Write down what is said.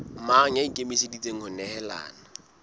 mang ya ikemiseditseng ho nehelana